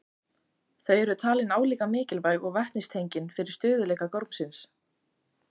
Þau eru talin álíka mikilvæg og vetnistengin fyrir stöðugleika gormsins.